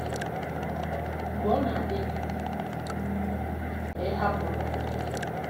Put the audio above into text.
um Mgbe Ọ Na-adị Gị um Ka Ịhapụ Ndụ